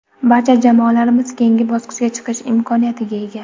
Barcha jamoalarimiz keyingi bosqichga chiqish imkoniyatiga ega.